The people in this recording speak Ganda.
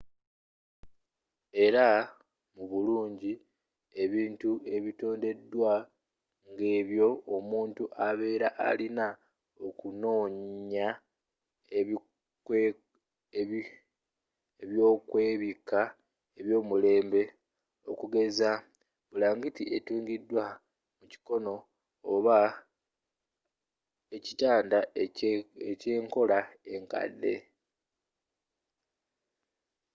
era mu bulungi ebintu ebitondedwawo ng'ebyo omuntu abeera alina okunoonya ebyokwebikka ebyomulembe okugeza nga bulangiti etungiddwa emikono oba ekitanda ekyenkola enkadde